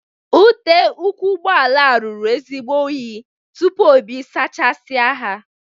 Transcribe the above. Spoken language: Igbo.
Ute ụkwụ ụgbọala a ruru ezigbo unyi tupu Obi saachasia ha.